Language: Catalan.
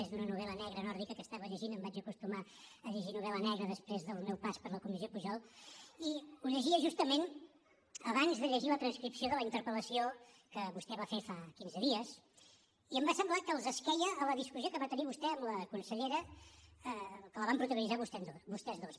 és d’una novel·la negra nòrdica que llegia em vaig acostumar a llegir novel·la negra després del meu pas per la comissió pujol i ho llegia justament abans de llegir la transcripció de la interpel·lació que vostè va fer fa quinze dies i em va semblar que esqueia a la discussió que va tenir vostè amb la consellera que van protagonitzar vostès dos